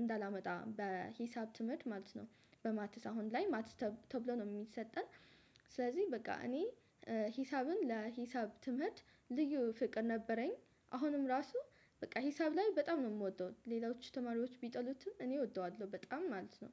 እንዳላመጣ በሂሳብ ትምህርት ማለት ነው በማትስ። አሁን ላይ ማትስ ተብሎ ነው የሚሰጠን ስለዚህ በቃ እኔ ሂሳብን ለሂሳብ ትምህርት ልዩ ፍቅር ነበረኝ፣ አሁንም ራሱ በቃ ሂሳብ ላይ በጣም ነው የምወደው ሌላዎቹ ተማሪዎች ቢጠሉትም እኔ እወደዋለሁ በጣም ማለት ነው።